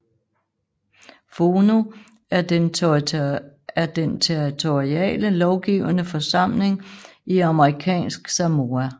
Fono er den territoriale lovgivende forsamling i Amerikansk Samoa